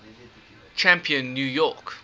champion new york